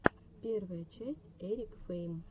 первая часть эрик фейм